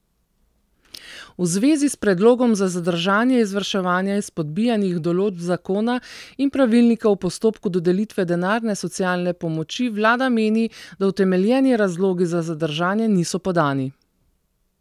V zvezi s predlogom za zadržanje izvrševanja izpodbijanih določb zakona in pravilnika v postopku dodelitve denarne socialne pomoči vlada meni, da utemeljeni razlogi za zadržanje niso podani.